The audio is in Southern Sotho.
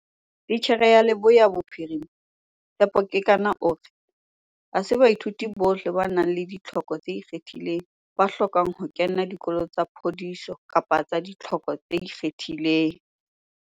Titjhere ya Leboya Bophirima, Tshepo Kekana o re, "Ha se baithuti bohle ba nang le ditlhoko tse ikgethileng ba hlokang ho kena dikolo tsa phodiso kapa tsa ditlhoko tse ikgethileng."